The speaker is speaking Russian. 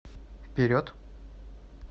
вперед